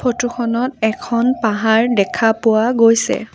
Photo খনত এখন পাহাৰ দেখা পোৱা গৈছে।